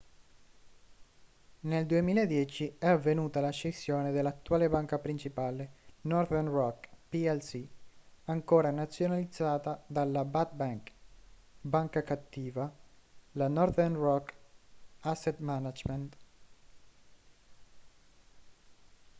nel 2010 è avvenuta la scissione dell'attuale banca principale northern rock plc ancora nazionalizzata dalla 'bad bank' banca cattiva la northern rock asset management